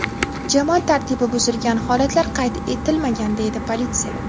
Jamoat tartibi buzilgan holatlar qayd etilmagan”, deydi politsiya.